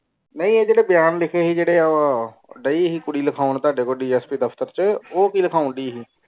ਨਾਈ ਇਹ ਜੇਰੇ ਬਿਆਨ ਲਿਖੇ ਸੀ ਜੇਰੇ ਉਹ ਗਈ ਸੀ ਕੁੜੀ ਲਿਖਣ ਤਾੜੇ ਕੋਲ ਦਫਤਰ ਛ ਉਹ ਕਿ ਲਿਖਣ ਦੀ ਸੀ